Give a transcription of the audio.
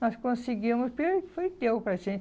Nós conseguíamos porque foi Deus para a gente.